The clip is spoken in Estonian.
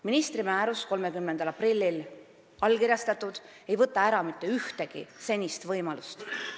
Ministri määrus, mis on 30. aprillil allkirjastatud, ei võta ära mitte ühtegi senist võimalust.